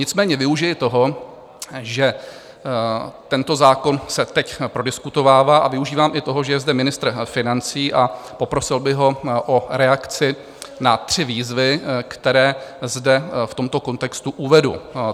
Nicméně využiji toho, že tento zákon se teď prodiskutovává, a využívám i toho, že je zde ministr financí, a poprosil bych ho o reakci na tři výzvy, které zde v tomto kontextu uvedu.